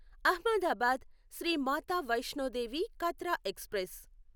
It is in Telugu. అహ్మదాబాద్ శ్రీ మాతా వైష్ణో దేవి కాట్రా ఎక్స్ప్రెస్